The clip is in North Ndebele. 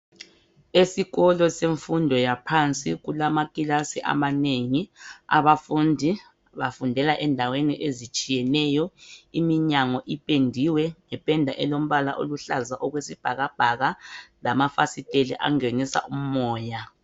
Esikolo semfundo yaphansi kulama kilasi amanengi abafundi bafundela endaweni ezitshiyeneyo iminyango ipendiwe ngependa elombala oluhlaza okwesibhakabhaka lamafasiteli angenisa umoya.